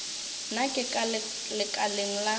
nna ke ka lekaleng la